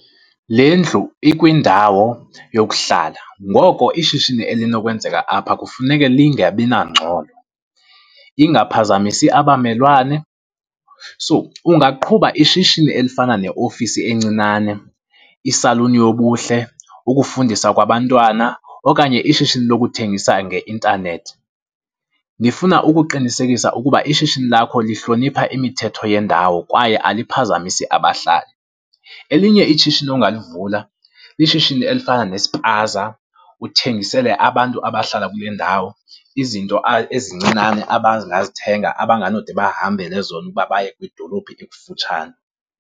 Le ndlu ikwindawo yokuhlala ngoko ishishini elinokwenzeka apha kufuneke lingabi nangxolo, ingaphazamisi abamelwane. So, ungaqhuba ishishini elifana neofisi encinane, isaluni yobuhle, ukufundisa kwabantwana okanye ishishini lokuthengisa ngeintanethi. Nifuna ukuqinisekisa ukuba ishishini lakho lihlonipha imithetho yendawo kwaye aliphazamisi abahlali. Elinye ishishini ongalivula, lishishini elifana nespaza uthengisele abantu abahlala kule ndawo izinto ezincinane abangazithenga, abanganode bahambele zona ukuba baye kwidolophu ekufutshane.